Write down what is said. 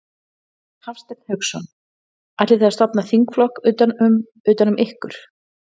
Hafsteinn Hauksson: Ætlið þið að stofna þingflokk utan um, utan um ykkur?